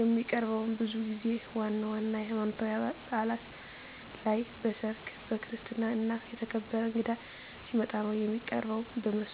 የሚቀርበውም ብዙ ጊዜ ዋና ዋና የሀይማኖታዊ ባእላት ላይ፣ በሰርግ፣ በክርስትና እና የተከበረ እንግዳ ሲመጣ ነው። የሚቀርበውም በሞሰብ ሆኖ ሁልጊዜ የሚቀርበው ከእንጀራ ጋር ነው።